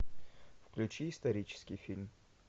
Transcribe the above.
включи исторический фильм